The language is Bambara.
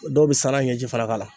Dɔw bɛ sana ɲɛji fana k'a la.